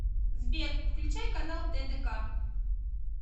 сбер включай канал тдк